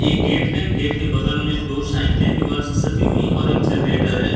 एक गेट है। गेट के बगल में दो साइकिलें दीवाल से सटी हुईं हैं और एक जनरेटर है।